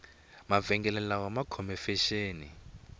mavengele ma khome fexeni